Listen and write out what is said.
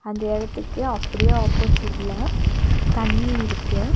இந்த இடத்துக்கு அப்டியே ஆப்போசிட்ல தண்ணி இருக்கு.